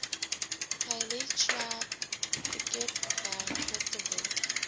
khayelitsha piketberg porterville